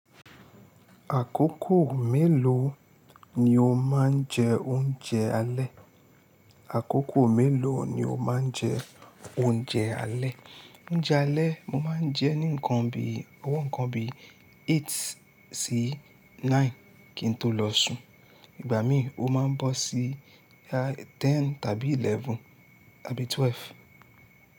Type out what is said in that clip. Àkókò mélòó ni o máa ń jẹ oúnjẹ alẹ́? Àkókò mélòó ni o máa ń jẹ oúnjẹ alẹ́? Oúnjẹ alẹ́ mo máa ń jẹ ní ǹkan bi, owó ǹkan bi eight sí nine kí n tó lọ sùn. Ìgbà míì ó máa ń bọ́ sí boya ten tàbí eleven tàbí twelve.